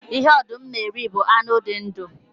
Ihe ọdụm na-eri bụ anụ dị ndu